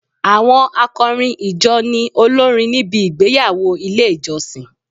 Àwọn akọrin ìjọ ni olórin níbi igbeyawo ilé ìjọsìn.